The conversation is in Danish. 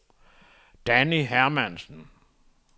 Danni Hermansen